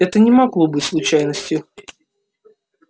это не могло быть случайностью